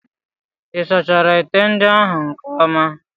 Ị sachara ite ndị ahụ nke ọma?